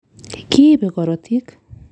Kiibe korotik.